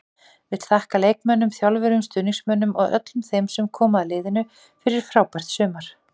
Vill þakka leikmönnum, þjálfurum, stuðningsmönnum og öllum þeim sem koma að liðinu fyrir frábært sumar.